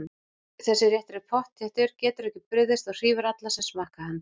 Þessi réttur er pottþéttur, getur ekki brugðist og hrífur alla sem smakka hann.